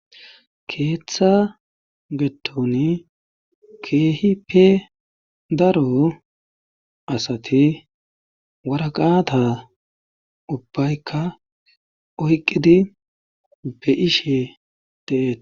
Keeththa gedddoni keehi pe daro asati wara qaata ubbaykka oyqqidi be ishe deet.